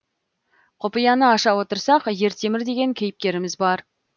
құпияны аша отырсақ ертемір деген кейіпкеріміз бар